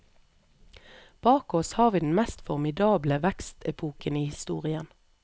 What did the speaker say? Bak oss har vi den mest formidable vekstepoken i historien.